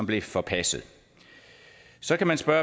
blev forpasset så kan man spørge